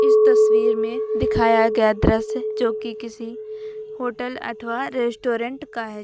तस्वीर में दिखाया गया दृश्य जोकि किसी होटल अथवा रेस्टोरेंट का है ज--